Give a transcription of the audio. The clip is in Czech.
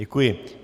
Děkuji.